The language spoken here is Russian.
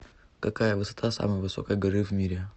какая высота самой высокой горы в мире